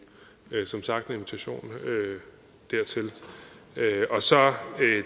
der er som sagt en invitation dertil så